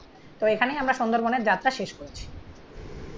তো এখানেই আমরা সুন্দর বোনের যাত্রা শেষ করেছি।